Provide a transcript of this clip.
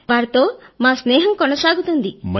మేము వారితో మా స్నేహం కొనసాగుతోంది